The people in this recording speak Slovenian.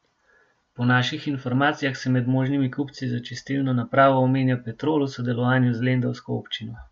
Po naših informacijah se med možnimi kupci za čistilno napravo omenja Petrol v sodelovanju z lendavsko občino.